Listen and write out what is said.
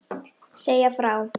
Segja frá.